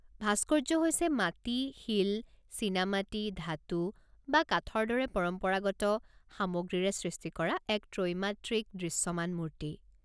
ভাস্কৰ্য হৈছে মাটি, শিল, চিনামাটি, ধাতু বা কাঠৰ দৰে পৰম্পৰাগত সামগ্ৰীৰে সৃষ্টি কৰা এক ত্ৰৈমাত্ৰিক দৃশ্যমান মূৰ্তি।